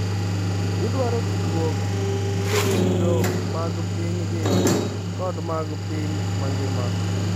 Gidwaro tudruok gi chiro mag pinygi kod mag piny mangima.